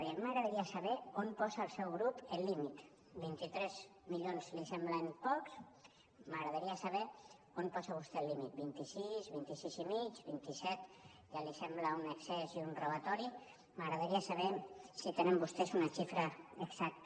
i a mi m’agradaria saber on posa el seu grup el límit vint tres milions li semblen pocs m’agradaria saber on posa vostè el límit vint sis vint sis i mig vint set ja li sembla un excés i un robatori m’agradaria saber si tenen vostès una xifra exacta